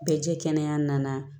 Bɛɛ jɛ kɛnɛ nana